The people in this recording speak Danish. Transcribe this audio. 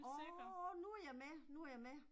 Åh nu jeg med, nu jeg med